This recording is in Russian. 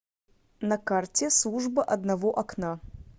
на карте служба одного окна